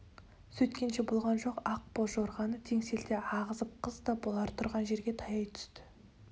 сөйткенше болған жоқ ақ боз жорғаны теңселте ағызып қыз да бұлар тұрған жерге таяй түсті